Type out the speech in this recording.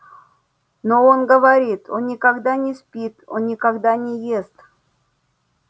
но он говорит он никогда не спит он никогда не ест